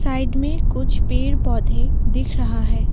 Side में कुछ पेड़ पौधे दिख रहा है।